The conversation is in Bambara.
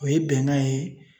O ye bɛnkan ye